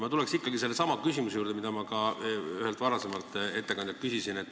Ma tuleks tagasi sellesama küsimuse juurde, mida ma ka ühelt varasemalt ettekandjalt küsisin.